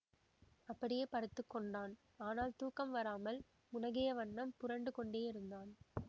அப்படியே படுத்து கொண்டான் ஆனால் தூக்கம் வராமல் முனகியவண்ணம் புரண்டு கொண்டேயிருந்தான்